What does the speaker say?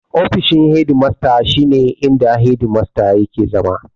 Ofishin hedi masta shi ne inda hedi masta yake zama.